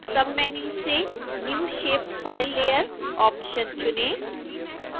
submenu से new shapefile layer option चुनें